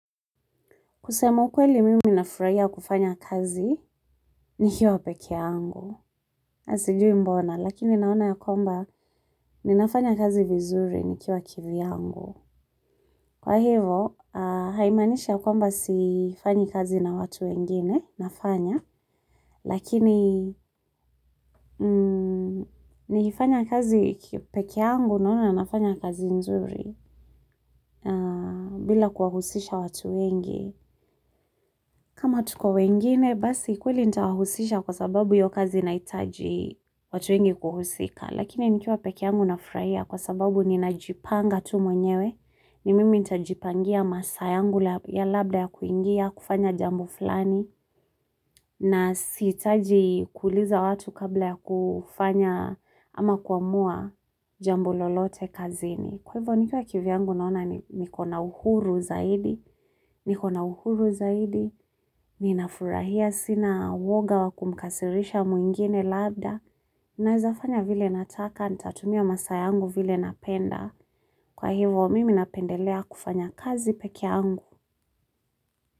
Kusema ukweli mimi nafurahia kufanya kazi. Nikiwa peke yangu. Na sijui mbona, lakini naona ya kwamba ninafanya kazi vizuri nikiwa kivyangu. Kwa hivo, haimanishi ya kwamba sifanyi kazi na watu wengine, nafanya, lakini nikifanya kazi peke angu naona nafanya kazi nzuri bila kuwahusisha watu wengi. Kama tuko wengine, basi kweli nita wahusisha kwa sababu hiyo kazi inahitaji watu wengi kuhusika, lakini nikiwa peke yangu nafurahia kwa sababu ninajipanga tu mwenyewe, ni mimi nitajipangia masaa yangu ya labda ya kuingia, kufanya jambo fulani, na sihitaji kuuliza watu kabla ya kufanya ama kuamua jambo lolote kazini. Kwa hivyo nikiwa kivyangu naona niko na uhuru zaidi, niko na uhuru zaidi, ninafurahia sina uwoga wa kumkasirisha mwingine labda, ninafanya vile nataka, nitatumia masaa yangu vile napenda, kwa hivyo mimi napendelea kufanya kazi peke angu.